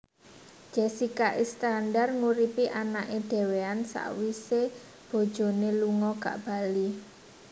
Jessica Iskandar nguripi anake dewean sakwise bojone lunga gak bali